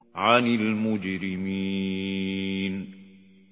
عَنِ الْمُجْرِمِينَ